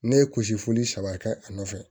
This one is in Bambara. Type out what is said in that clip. Ne ye kusi foli saba kɛ a nɔfɛ